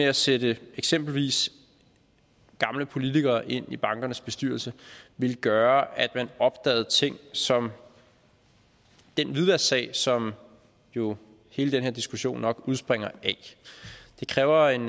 at sætte eksempelvis gamle politikere ind i bankernes bestyrelse ville gøre at man opdagede ting som den hvidvasksag som jo hele den her diskussion nok udspringer af det kræver en